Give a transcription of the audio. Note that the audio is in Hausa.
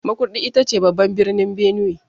Makurdi ita ce babban birnin Benue.